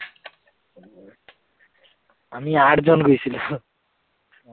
আমি আঠজন গৈছিলোঁ।